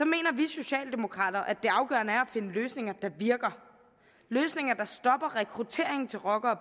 mener vi socialdemokrater at det afgørende er at finde løsninger der virker løsninger der stopper rekruttering til rocker og